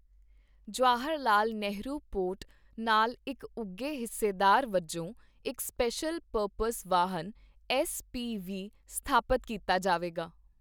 Jawahar Lal Nehru port ਨਾਲ ਇੱਕ ਉੱਘੇ ਹਿੱਸੇਦਾਰ ਵਜੋਂ ਇੱਕ ਸਪੇਸ਼ਲ ਪਰਪਜ਼ ਵਾਹਨ ਐੱਸ ਪੀ ਵੀ ਸਥਾਪਿਤ ਕੀਤਾ ਜਾਵੇਗਾ।